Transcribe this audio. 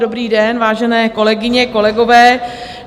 Dobrý den, vážené kolegyně, kolegové.